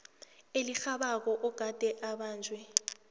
elirhabako ogade ubanjwe